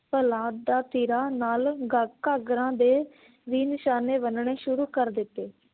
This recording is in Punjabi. ਦਾ ਤੀਰਾਂ ਨਾਲ ਗਾ ਘਾਗਰਾ ਦੇ ਵੀ ਨਿਸ਼ਾਨੇ ਬੰਨ ਨੇ ਸ਼ੁਰੂ ਕਰ ਦਿੱਤੇ।